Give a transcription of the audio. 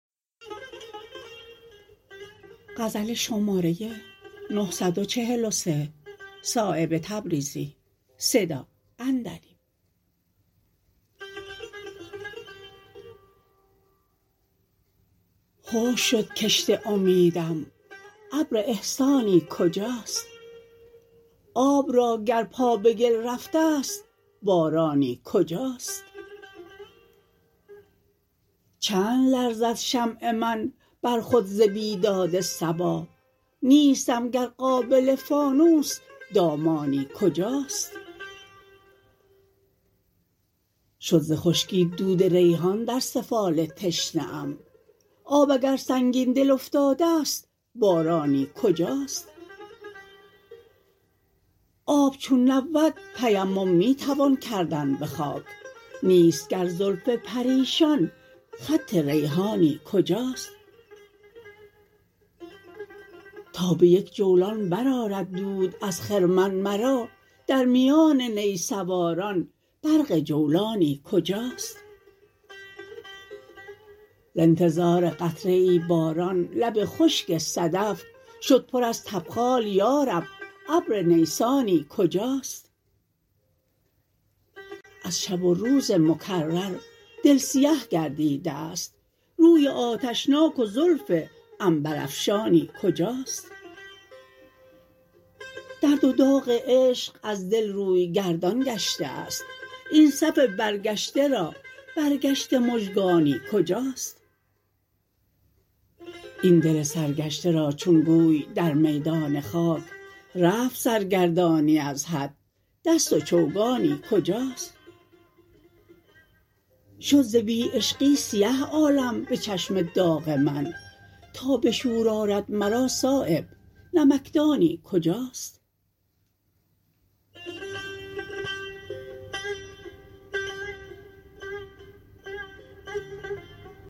خشک شد کشت امیدم ابر احسانی کجاست آب را گر پا به گل رفته است بارانی کجاست چند لرزد شمع من بر خود ز بیداد صبا نیستم گر قابل فانوس دامانی کجاست شد ز خشکی دود ریحان در سفال تشنه ام آب اگر سنگین دل افتاده است بارانی کجاست آب چون نبود تیمم می توان کردن به خاک نیست گر زلف پریشان خط ریحانی کجاست تا به یک جولان برآرد دود از خرمن مرا در میان نی سواران برق جولانی کجاست ز انتظار قطره ای باران لب خشک صدف شد پر از تبخال یارب ابر نیسانی کجاست از شب و روز مکرر دل سیه گردیده است روی آتشناک و زلف عنبرافشانی کجاست درد و داغ عشق از دل روی گردان گشته است این صف برگشته را برگشته مژگانی کجاست این دل سرگشته را چون گوی در میدان خاک رفت سرگردانی از حد دست و چوگانی کجاست شد ز بی عشقی سیه عالم به چشم داغ من تا به شور آرد مرا صایب نمکدانی کجاست